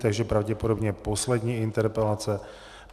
Takže pravděpodobně poslední interpelace.